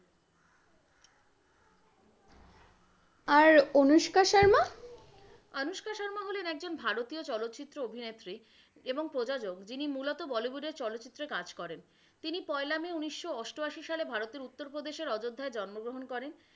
আর অনুষ্কা শর্মা? অনুষ্কা শর্মা হলেন একজন ভারতীয় চলচ্চিত্র অভিনেত্রী এবং প্রযোজক যিনি মূলত বলিউড এর চলচ্চিত্রে কাজ করেন। তিনি পয়লা মে উনিশশো অষ্টআশী সালে ভারতের উত্তরপ্রদেশের অযোধ্যায় জন্মগ্রহণ করেন।